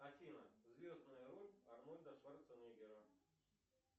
афина звездная роль арнольда шварценеггера